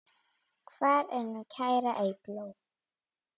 Kælið og nuddið hýðinu af.